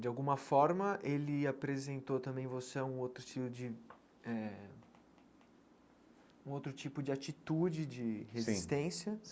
De alguma forma, ele apresentou também você a um outro tipo de eh um outro tipo de atitude de sim resistência.